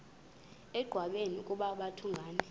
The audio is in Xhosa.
engqanweni ukuba babhungani